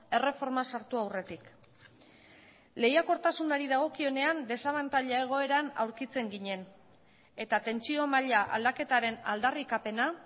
erreforma sartu aurretik lehiakortasunari dagokionean desabantaila egoeran aurkitzen ginen eta tentsio maila aldaketaren aldarrikapena